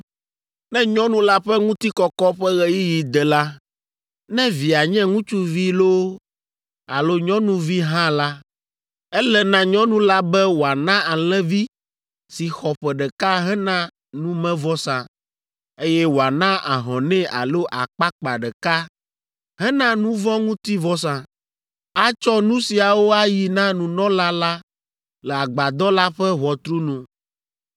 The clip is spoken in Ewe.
“ ‘Ne nyɔnu la ƒe ŋutikɔkɔ ƒe ɣeyiɣi de la, ne via nye ŋutsuvi loo alo nyɔnuvi hã la, ele na nyɔnu la be wòana alẽvi si xɔ ƒe ɖeka hena numevɔsa, eye wòana ahɔnɛ alo akpakpa ɖeka hena nu vɔ̃ ŋuti vɔsa. Atsɔ nu siawo ayi na nunɔla la le Agbadɔ la ƒe ʋɔtru nu,